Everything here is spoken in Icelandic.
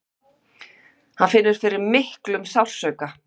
Hann finnur fyrir miklum sársauka.